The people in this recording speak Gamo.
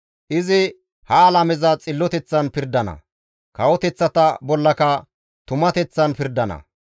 Izi ha alameza xilloteththan pirdana; kawoteththata bollaka tumateththan pirdana.